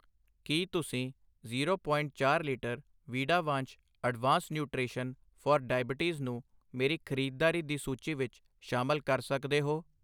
ਕੀ ਤੁਸੀਂ zero point ਚਾਰ litre ਵੀਡਾਵਾਂਸ਼ ਅਡਵਾਂਸ ਨਿਊਟ੍ਰੇਸ਼ਨ ਫਾਰ ਡਾਇਬਟੀਜ਼ ਨੂੰ ਮੇਰੀ ਖ਼ਰੀਦਦਾਰੀ ਦੀ ਸੂਚੀ ਵਿੱਚ ਸ਼ਾਮਿਲ ਕਰ ਸਕਦੇ ਹੋ ?